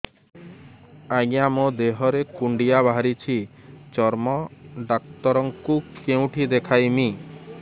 ଆଜ୍ଞା ମୋ ଦେହ ରେ କୁଣ୍ଡିଆ ବାହାରିଛି ଚର୍ମ ଡାକ୍ତର ଙ୍କୁ କେଉଁଠି ଦେଖେଇମି